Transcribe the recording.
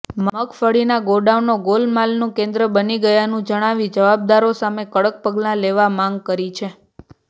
મગફળીના ગોડાઉનો ગોલમાલનું કેન્દ્ર બની ગયાનું જણાવી જવાબદારો સામે કડક પગલા લેવા માંગ કરી છે